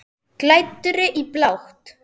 Klæddri í blátt.